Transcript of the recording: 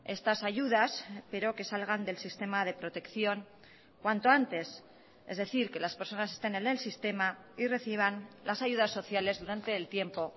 estas ayudas pero que salgan del sistema de protección cuanto antes es decir que las personas estén en el sistema y reciban las ayudas sociales durante el tiempo